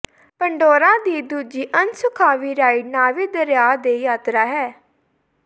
Pandora ਦੀ ਦੂਜੀ ਅਣਸੁਖਾਵੀਂ ਰਾਈਡ ਨਾਵੀ ਦਰਿਆ ਦੀ ਯਾਤਰਾ ਹੈ